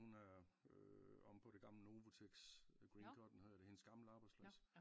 Hun er øh omme på det gamle Novotex Green Cotton hedder det hendes gamle arbejdsplads